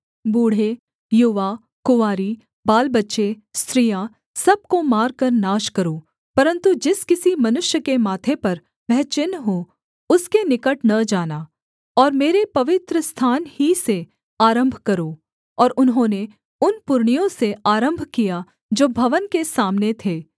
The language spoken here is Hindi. बूढ़े युवा कुँवारी बालबच्चे स्त्रियाँ सब को मारकर नाश करो परन्तु जिस किसी मनुष्य के माथे पर वह चिन्ह हो उसके निकट न जाना और मेरे पवित्रस्थान ही से आरम्भ करो और उन्होंने उन पुरनियों से आरम्भ किया जो भवन के सामने थे